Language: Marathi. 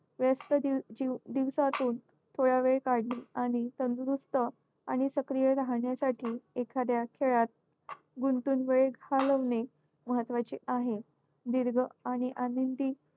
व्यस्त दिवसातून थोडा वेळ काढणे आणि तंदुरुस्त आणि सक्रिय राहण्यासाठी एखाद्या खेळात गुंतून वेळ घालवणे महत्त्वाचे आहे. दीर्घ आणि आनंदी